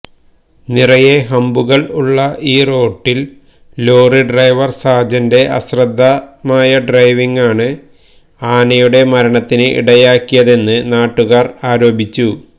നിറയെ ഹമ്പുകള് ഉള്ള ഈ റൂട്ടില് ലോറി ഡ്രൈവര് സാജന്റെ അശ്രദ്ധമായ ഡ്രൈവിങ്ങാണ് ആനയുടെ മരണത്തിന് ഇടയാക്കിയതെന്ന് നാട്ടുകാര് ആരോപിച്ചു